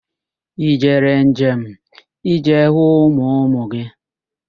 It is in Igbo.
Ị mere njem ịje hụ ụmụ ụmụ gị?